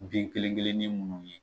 Bin kelen kelen nin munni ye